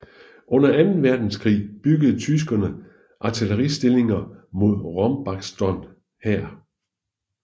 Under anden verdenskrig byggede tyskerne artilleristillinger mod Rombaksbotn her